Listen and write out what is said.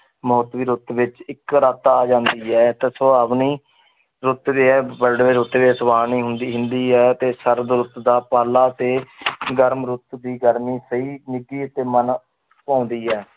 ਰੁੱਤ ਵਿੱਚ ਇੱਕ ਰੱਤ ਆ ਜਾਂਦੀ ਹੈ ਤਾਂ ਸੁਹਾਵਣੀ ਰੁੱਤ ਸੁਹਾਵਣੀ ਹੁੰਦੀ ਹੁੰਦੀ ਹੈ ਤੇ ਸਰਦ ਰੁੱਤ ਦਾ ਪਾਲਾ ਤੇ ਗਰਮ ਰੁੱਤ ਦੀ ਗਰਮੀ ਸਹੀ ਨਿੱਘੀ ਅਤੇ ਮਨ ਭਾਉਂਦੀ ਹੈ